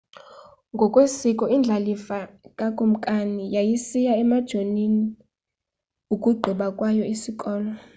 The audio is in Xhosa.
ngokwesiko indlalifa kakumkani yayisiya emajonini ukugqiba kwayo isikolo